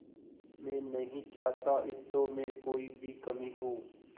मैं नहीं चाहता इस शो में कोई भी कमी हो